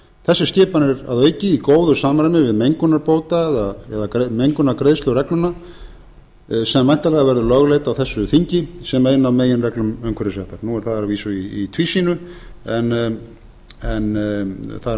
þessi skipan er að auki í góðu samræmi við mengunarbóta eða mengunargreiðsluregluna sem væntanlega verður lögleidd á þessu þingi sem ein af meginreglum umhverfisréttar nú er það að vísu í tvísýnu en það er að minnsta